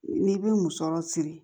N'i bɛ musɔrɔ siri